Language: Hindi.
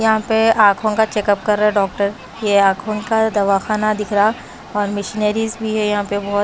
यहां पे आंखों का चेकअप कर रहा है डॉक्टर ये आंखों का दवाखाना दिख रहा और मिशनरीज भी है यहां पे बहुत--